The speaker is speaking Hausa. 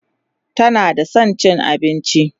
tana da San cin abinci